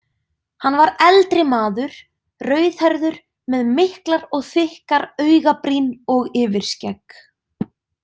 Hann var eldri maður, rauðhærður með miklar og þykkar augabrýn og yfirskegg.